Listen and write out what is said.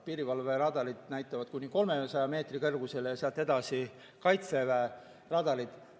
Piirivalveradarid näitavad kuni 300 meetri kõrgusele ja sealt edasi Kaitseväe radarid.